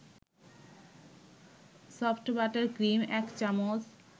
soft butter cream ১ চামচ